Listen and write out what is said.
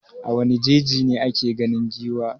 A wane jeji ne ake ganin giwa?